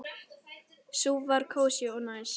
Sú var kósí og næs.